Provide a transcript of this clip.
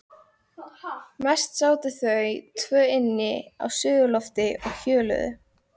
Mest sátu þau tvö inni á suðurlofti og hjöluðu.